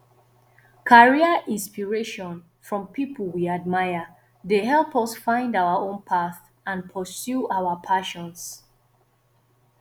career inspiration from people we admire dey help us find our own path and pursue our passions